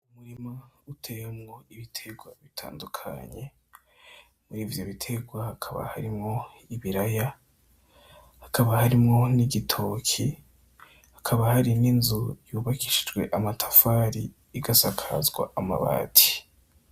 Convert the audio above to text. Umurima uteyemwo ibiterwa bitandukanye muri ivyo biterwa hakaba harimwo ibiraya hakaba harimwo n'igitoki hakaba hari n'inzu yubakishijwe amatafari igasakazwa amabati.